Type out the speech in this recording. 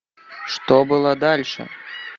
что было дальше